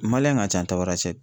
ka ca Tabarasɛte.